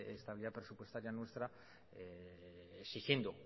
estabilidad presupuestaria nuestra exigiendo